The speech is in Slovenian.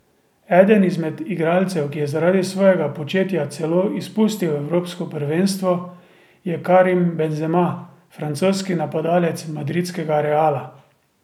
Eden izmed igralcev, ki je zaradi svojega početja celo izpustil evropsko prvenstvo, je Karim Benzema, francoski napadalec madridskega Reala.